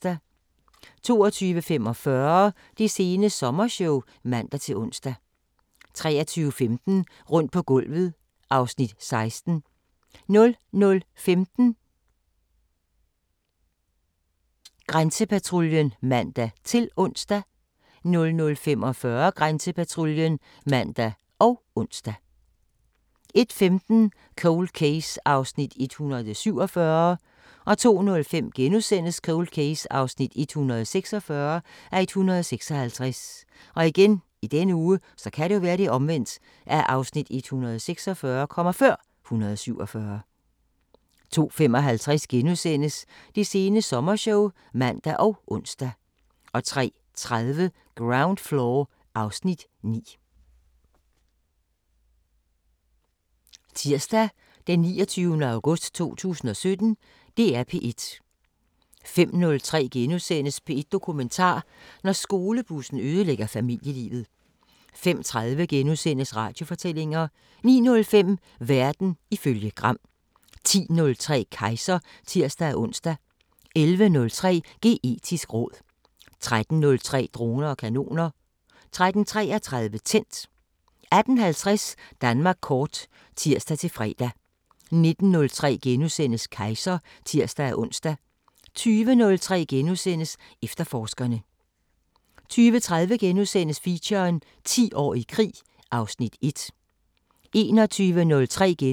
22:45: Det sene sommershow (man-ons) 23:15: Rundt på gulvet (Afs. 16) 00:15: Grænsepatruljen (man-ons) 00:45: Grænsepatruljen (man og ons) 01:15: Cold Case (147:156) 02:05: Cold Case (146:156)* 02:55: Det sene sommershow *(man og ons) 03:30: Ground Floor (Afs. 9)